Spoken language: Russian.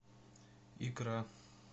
икра